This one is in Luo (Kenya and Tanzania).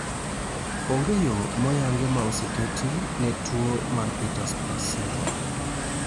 onge yo moyangi mar ma ose keti ne tuo mar Peters plus syndrome